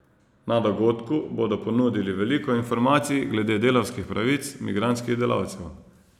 Na dogodku bodo ponudili veliko informacij glede delavskih pravic migrantskih delavcev.